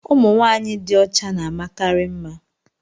ụmụ nwanyị dị ọcha na-amakarị mma